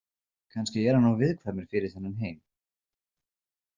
Kannski er hann of viðkvæmur fyrir þennan heim.